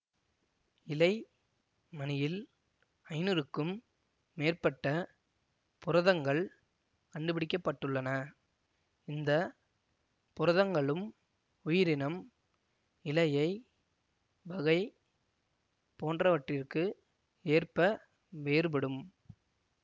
இழை மணியில் ஐநூறுக்கும் மேற்பட்ட புரதங்கள் கண்டுபிடிக்க பட்டுள்ளன இந்த புரதங்களும் உயிரினம் இழையை வகை போன்றவற்றிற்கு ஏற்ப வேறுபடும்